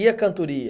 E a cantoria?